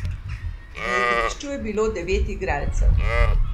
Na igrišču je bilo devet igralcev.